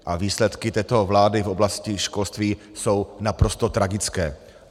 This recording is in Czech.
A výsledky této vlády v oblasti školství jsou naprosto tragické.